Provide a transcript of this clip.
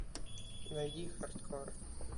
найди хардкор